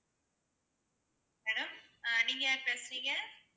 hello ஆஹ் நீங்க யாரு பேசுறீங்க?